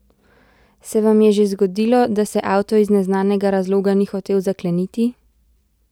Se vam je že zgodilo, da se avto iz neznanega razloga ni hotel zakleniti?